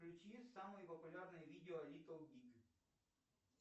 включи самое популярное видео литл биг